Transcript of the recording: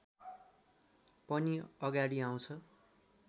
पनि अगाडि आउँछ